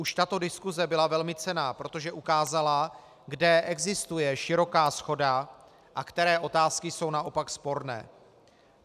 Už tato diskuse byla velmi cenná, protože ukázala, kde existuje široká shoda a které otázky jsou naopak sporné.